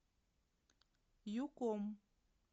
юком